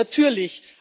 Ja, natürlich!